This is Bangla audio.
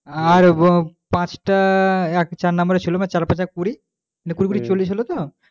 আর পাঁচটা একটা চার number এর ছিল চার পাঁচে কুড়ি মানে কুড়ি কুড়ি চল্লিশ হলো তো